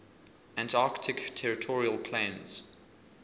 antarctic territorial claims